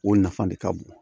O nafa de ka bon